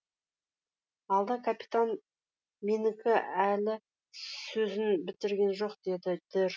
алда капитан менікі әлі сөзін бітірген жоқ деді дер